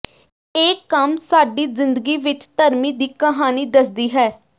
ਇਹ ਕੰਮ ਸਾਡੀ ਜ਼ਿੰਦਗੀ ਵਿਚ ਧਰਮੀ ਦੀ ਕਹਾਣੀ ਦੱਸਦੀ ਹੈ